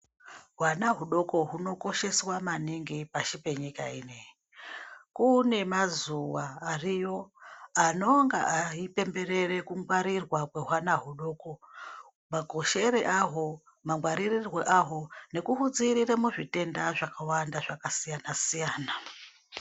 Hwana hudoko hunokosheswa maningi pashi penyika inei. Kune mazuwa ariyo anonga aipemberere kungwarirwa kwehwana hudoko makoshere ahwo mangwaririrwe ahwo nekuhudziiirire muzvitenda zvakawanda zvakasiyana siyana.